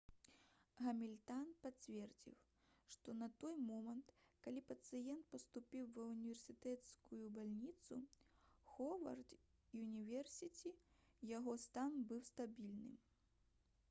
гамільтан пацвердзіў што на той момант калі пацыент паступіў ва ўніверсітэцкую бальніцу «ховард юніверсіці» яго стан быў стабільны